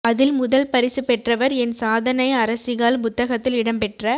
அதில் முதல் பரிசு பெற்றவர் என் சாதனை அரசிகள் புத்தகத்தில் இடம்பெற்ற